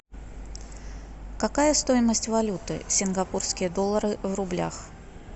какая стоимость валюты сингапурские доллары в рублях